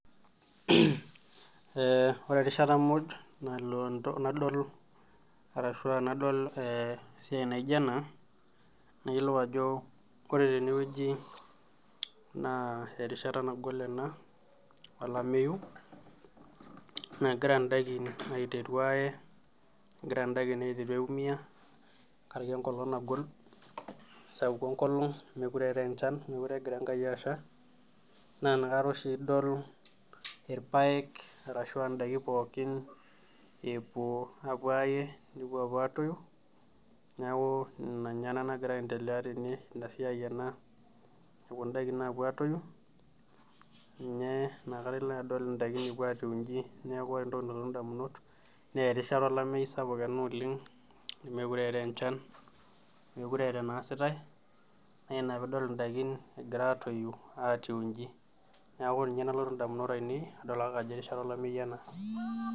Ore erishata muj nalo nadol entoki naijo ena ,nayiolou ajo ore teneweji na erishata nagol ena olameyu naa egira ndaikin aiteru aaye, egira ndaikin aiteru aiumiyia ntekaraki enkolong ,sapuk enkolong mookure eetae enchan mookure egira Enkai asha naa inakata oshi idol irpaek ashua ndaiki pookin epuo apuo aaye nepuo apuo atoyu, neeku ina nagira aendelea teneweji ,ina siai ena egira ndaikin apuo atoyu neeku ina peeku ndaikin inji. neeku ore entoki nalotu ndamunot naa erishata ena olameyu sapuk oleng, nemookure eetae enchan nemookure eetae enaasitae naa ina pee idol indaikin egira atoyu egira atiu inchi neeku ninye nalotu ndamunot ainei adol ake ajo erishata olameyu ena.